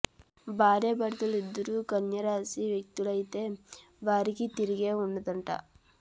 భార్యాభర్తలు ఇద్దరూ కన్య రాశి వ్యక్తులైతే వారికి తిరుగే ఉండదట